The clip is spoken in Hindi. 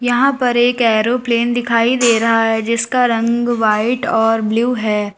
यहां पर एक एरोप्लेन दिखाई दे रहा है जिसका रंग व्हाइट और ब्लू है।